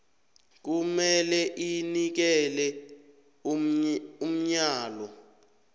kumele inikele umyalo